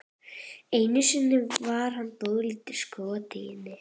Einu sinni var hann dálítið skotinn í henni.